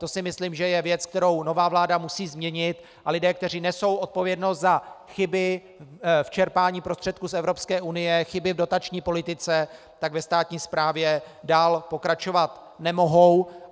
To si myslím, že je věc, kterou nová vláda musí změnit, a lidé, kteří nesou odpovědnost za chyby v čerpání prostředků z Evropské unie, chyby v dotační politice, tak ve státní správě dál pokračovat nemohou.